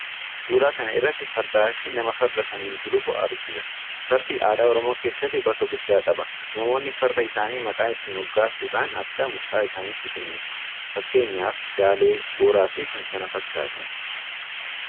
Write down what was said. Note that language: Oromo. Suuraa kana irratti Fardaa fi nama Farda sanaan gulufu argina. Farming aadaa Oromoo keessatti bakka guddaa qaba. Namoonni Farda isaanii maqaa itti moggaasuudhaan akka mucaa isaaniitti kunuunsu. Fakkeenyaaf Daalee, Booraa fi kan kana fakkaatan.